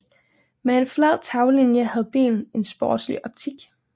Med en flad taglinie havde bilen en sportslig optik